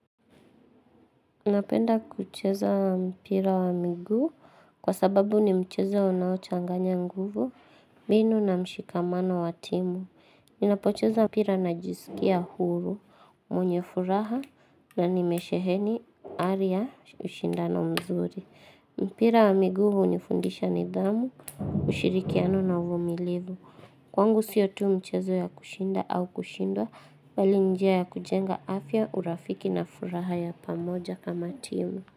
Napenda kucheza mpira wa miguu kwa sababu ni mchezao unaochanganya nguvu, mbinu na mshikamano wa timu. Ninapocheza mpira najisikia huru, mwenye furaha na nimesheheni ari ya ushindano mzuri. Mpira wa miguu hunifundisha nidhamu, ushirikiano na uvumilivu. Kwangu sio tu mchezo ya kushinda au kushindwa bali ni njia ya kujenga afya, urafiki na furaha ya pamoja kama timu.